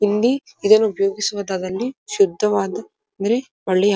ಇಲ್ಲಿ ಇದನ್ನು ಉಪಯೋಗಿಸುವದಾವಲ್ಲಿ ಶುದ್ಧವಾದ ಅಂದ್ರೆ ಒಳ್ಳೆಯ --